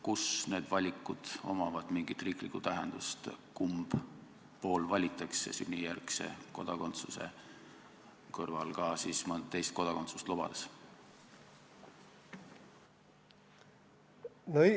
Kus need valikud omavad mingit riiklikku tähendust, kumb pool valitakse sünnijärgse kodakondsuse kõrval ka mõnd teist kodakondsust lubades?